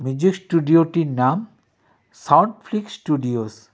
Music স্টুডিওটির নাম Sound Flix Studios .